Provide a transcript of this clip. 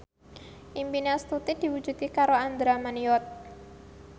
impine Astuti diwujudke karo Andra Manihot